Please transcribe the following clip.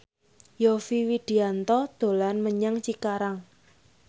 Yovie Widianto dolan menyang Cikarang